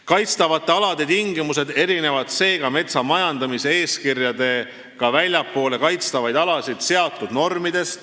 Kaitstavate alade tingimused erinevad seega normidest, mis on metsa majandamise eeskirjaga kehtestatud väljaspool kaitstavaid alasid.